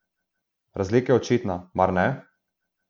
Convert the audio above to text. Razlika je očitna, mar ne?